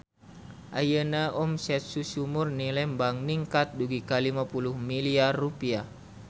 Ayeuna omset Susu Murni Lembang ningkat dugi ka 50 miliar rupiah